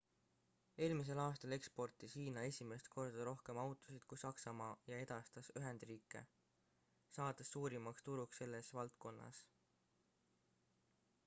eelmisel aastal eksportis hiina esimest korda rohkem autosid kui saksamaa ja edastas ühendriike saades suurimaks turuks selles valdkonnas